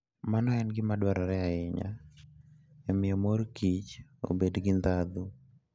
Mano en gima dwarore ahinya e miyo mor kich obed gi ndhadhu.